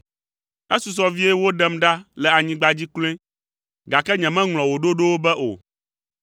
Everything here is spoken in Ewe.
Esusɔ vie woɖem ɖa le anyigba dzi kloe, gake nyemeŋlɔ wò ɖoɖowo be o.